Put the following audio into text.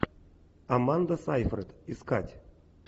аманда сейфрид искать